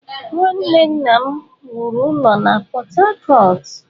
Nwanne nna m wuru ụlọ na Port-Harcourt.